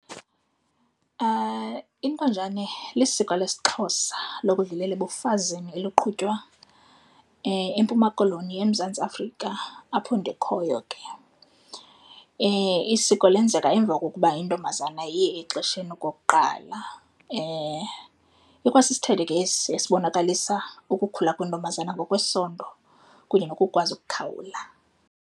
Intonjane lisiko lesiXhosa lokudlulela ebafazini eliqhutywa eMpuma Koloni eMzantsi Afrika, apho ndikhoyo ke. Isiko lenzeka emva kokuba intombazana iye exesheni okokuqala ikwasisithethe ke esi esibonakalisa ukukhula kwentombazane ngokwesondo kunye nokukwazi ukukhawula.